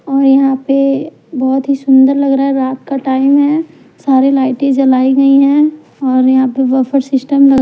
और यहां पे बहुत ही सुंदर लग रहा है रात का टाइम है और लाइट जलाइ गयी है के यहां पे बफर सिस्टम --